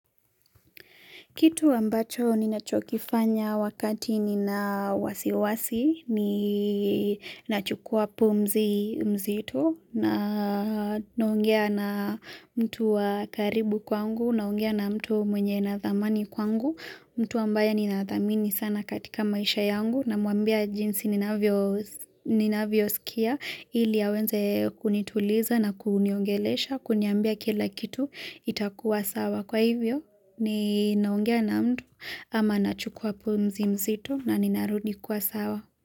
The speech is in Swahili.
Kitu ambacho ninachokifanya wakati nina wasiwasi, ninachukua pumzi mzito, na naongea na mtu wa karibu kwangu, naongea na mtu mwenye na thamani kwangu, mtu ambaye ninathamini sana katika maisha yangu, na muambia jinsi nivavyo ninavyo sikia, ili awenze kunituliza na kuniongelesha, kuniambia kila kitu itakuwa sawa. Kwa hivyo ni ninangea na mtu ama nachukua pomzi mzito na ninarudi kwa sawa.